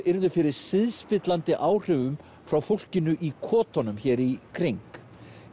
yrðu fyrir siðspillandi áhrifum frá fólkinu í hér í kring